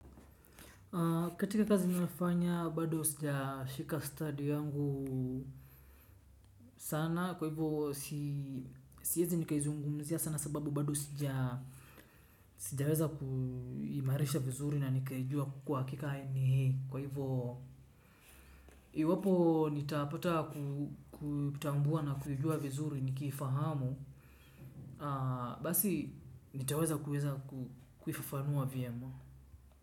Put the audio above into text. Katika kazi nafanya bado sijashika ustadi wangu sana kwa hivyo siwezi nikaizungumzia sababu bado sijaweza kuimarisha vizuri na nikaijua kwa haikika ni hii. Iwapo nitapata kutambua na kujua vizuri nikifahamu basi nitaweza kuweza kufafanua vyema.